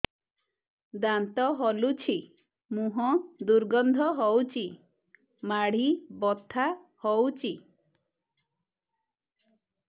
ଦାନ୍ତ ହଲୁଛି ମୁହଁ ଦୁର୍ଗନ୍ଧ ହଉଚି ମାଢି ବଥା ହଉଚି